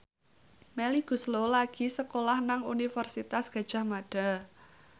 Melly Goeslaw lagi sekolah nang Universitas Gadjah Mada